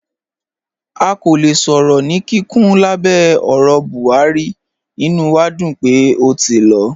À kò lẹ̀ sọ̀rọ̀ ní kíkún lábẹ̀ ọ̀rọ̀ Buhari, ìnú wà dún pé ó ti lọ.